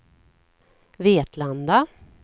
Vetlanda